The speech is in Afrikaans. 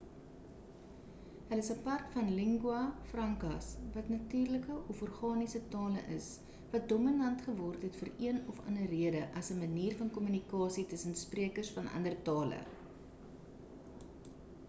hulle is apart van lingua francas wat natuurlike of organiese tale is wat dominant geword het vir een of ander rede as 'n manier van kommunikasie tussen sprekers van ander tale